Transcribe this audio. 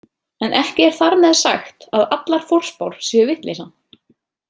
En ekki er þar með sagt að allar forspár séu vitleysa.